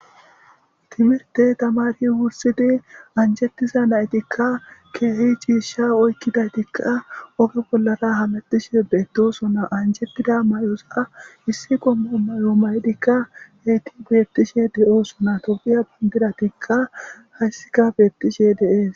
timirte tamari wursidi anjettiza naytikka keehi ciisha oykkidaytikka oge bollara hamettishe beettosona anjetida may7osa issi gomma may7o maydikka heyti beettishe de7oosona tobiya bindidatikka hayssika beettishe dees